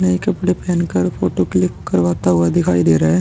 नए कपड़े पहेन कर फोटो क्लिक करवाता हुआ दिखाई दे रहा है।